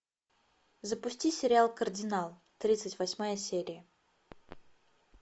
запусти сериал кардинал тридцать восьмая серия